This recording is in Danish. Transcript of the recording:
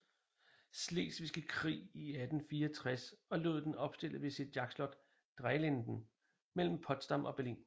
Slesvigske Krig i 1864 og lod den opstille ved sit jagtslot Dreilinden mellem Potsdam og Berlin